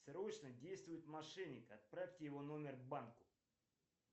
срочно действует мошенник отправьте его номер банку